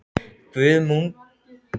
Guðmundína, mun rigna í dag?